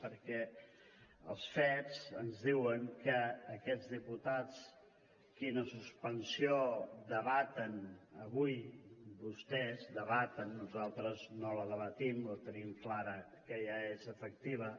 perquè els fets ens diuen que aquests diputats la suspensió dels quals es debat avui vostès debaten nosaltres no la debatem la tenim clara que ja és efectiva